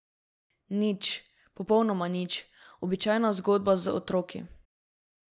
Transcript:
Nič, popolnoma nič, običajna zgodba z otroki.